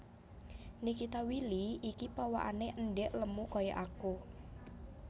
Nikita Willy iki pawakane endhek lemu koyok aku